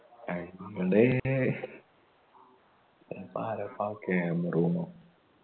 ഞങ്ങടെ ഇപ്പൊ ആരാപ്പാ ക്യാമ്റൂം